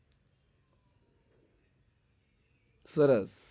સરસ